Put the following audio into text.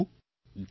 ધન્યવાદ